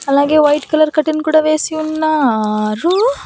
అలాగే white colour curtain కూడా వేసి ఉన్నారు.